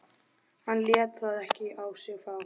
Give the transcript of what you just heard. Hann lét það ekki á sig fá.